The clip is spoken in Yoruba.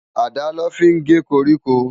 Àdá lò fi n gé kórìkó